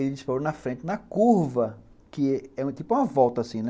Ele disparou na frente, na curva, que é tipo uma volta assim, né?